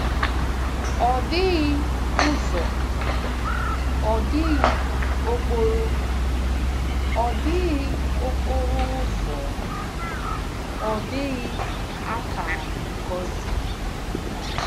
Ọ dịghị ụzọ, ọ dịghị okporo ọ dịghị okporo ụzọ, ọ dịghị akara ngosi.